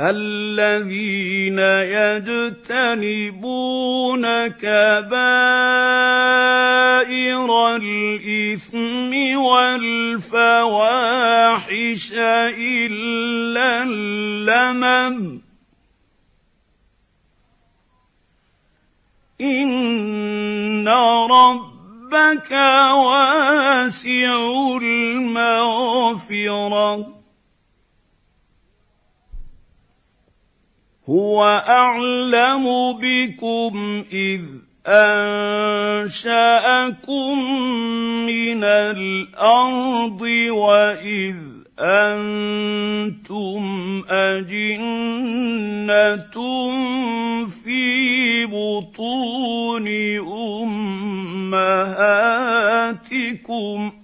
الَّذِينَ يَجْتَنِبُونَ كَبَائِرَ الْإِثْمِ وَالْفَوَاحِشَ إِلَّا اللَّمَمَ ۚ إِنَّ رَبَّكَ وَاسِعُ الْمَغْفِرَةِ ۚ هُوَ أَعْلَمُ بِكُمْ إِذْ أَنشَأَكُم مِّنَ الْأَرْضِ وَإِذْ أَنتُمْ أَجِنَّةٌ فِي بُطُونِ أُمَّهَاتِكُمْ ۖ